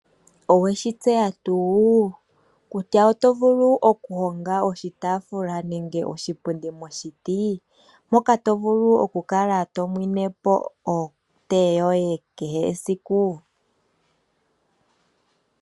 Oweshi tseya tuu kutya oto vulu okuhonga oshitafula nenge oshipundi moshiti? Mpoka to vulu okukala to nwinepo otee yoye kehe esiku.